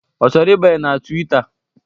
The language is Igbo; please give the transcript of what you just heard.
Ọ chọrọ ibanye na Twita?